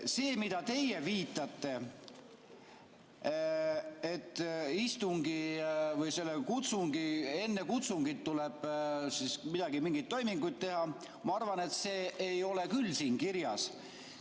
See, millele teie viitate, et enne kutsungit tuleb mingeid toiminguid teha, ma arvan, ei ole küll siin kirjas.